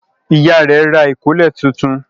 Ìyá rẹ̀ yóò ra ìkọ́lẹ̀ tuntun.